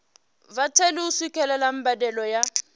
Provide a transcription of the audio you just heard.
vhatheli u swikelela mbadelo ya